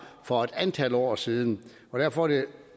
for et antal år siden og derfor er det